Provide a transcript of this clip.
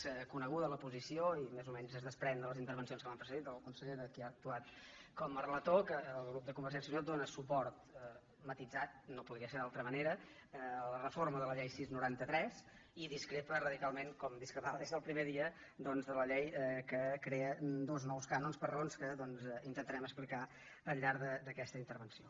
és coneguda la posició i més o menys es desprèn de les intervencions que m’han precedit del conseller de qui ha actuat com a relator que el grup de convergèn·cia i unió dóna suport matisat no podria ser d’altra manera a la reforma de la llei sis noranta tres i discrepa radical·ment com en discrepava des del primer dia doncs de la llei que crea dos nous cànons per raons que intentarem explicar al llarg d’aquesta intervenció